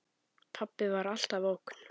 Pabbi var alltaf ógn.